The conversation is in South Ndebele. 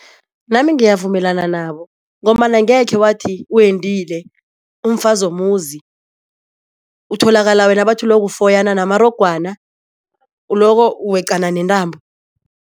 Nami ngiyavumelana nabo ngombana angekhe wathi wendile umfazi womuzi utholakala wena bathi uloko ufoyana namarogwana uloko weqana nentambo.